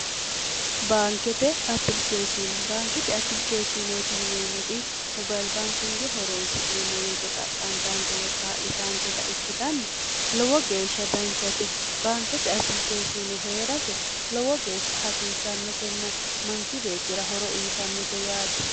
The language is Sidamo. baankete apilikeeshine baankete apilikeeshineeti yineemmoti mobailbaankinge horoonsi'neemmoweete xaqqantaanke woy kaa'litaanketa ikkitanna lowo geeshsha danchate baankete apilikeeshine hee'rase lowo geeshsha hasiissannotenna manchi beettira horo uyyitannote yaate